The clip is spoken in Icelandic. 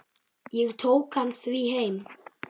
Ég tók hann því heim.